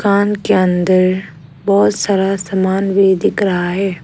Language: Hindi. कान के अंदर बहोत सारा समान भी दिख रहा है।